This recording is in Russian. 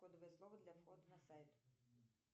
кодовое слово для входа на сайт